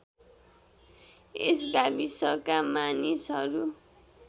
यस गाविसका मानिसहरू